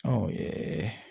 Ɔ